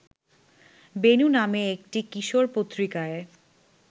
বেণু নামে একটি কিশোর পত্রিকায়